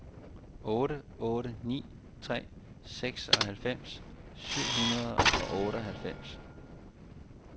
otte otte ni tre seksoghalvfems syv hundrede og otteoghalvfems